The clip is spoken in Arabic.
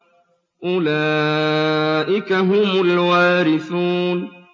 أُولَٰئِكَ هُمُ الْوَارِثُونَ